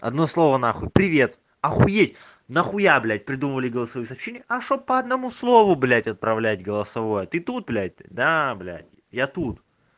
одно слово нахуй привет охуеть нахуя блядь придумали голосовое сообщение а что б по одному слову блядь отправлять голосовое ты тут блядь да блядь я тут